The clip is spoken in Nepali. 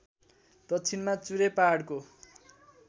दक्षिणामा चुरे पहाडको